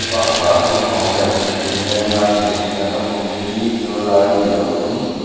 park ah naupang leh puitling lenglai hmuh a ni a naupangte hi zirlai nih loh pawn --